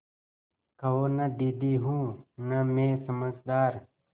कहो न दीदी हूँ न मैं समझदार